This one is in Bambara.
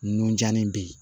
Nunjannin bɛ ye